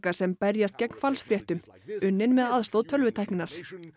sem berjast gegn falsfréttum unnin með aðstoð tölvutækninnar